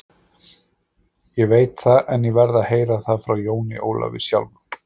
Ég veit það, en ég verð að heyra það frá Jóni Ólafi sjálfum.